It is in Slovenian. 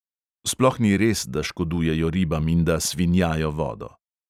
Sploh ni res, da škodujejo ribam in da "svinjajo" vodo.